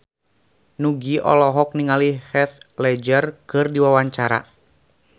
Nugie olohok ningali Heath Ledger keur diwawancara